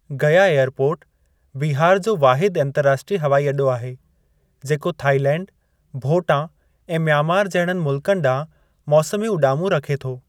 गया airport Bihar जो वाहिद अंतर्राष्ट्रीय हवाई अॾो आहे, जेको थाईलैंड, भोटां ऐं मियांमार जहिड़नि मुल्कनि ॾांहुं मौसमी उॾामूं रखे थो।